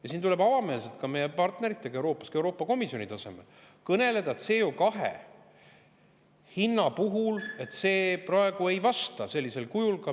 Ja siin tuleb avameelselt ka meie partneritega Euroopas, sealhulgas ka Euroopa Komisjoni tasemel, kõneleda CO2 hinnast, mis praegu ei vasta meie huvidele.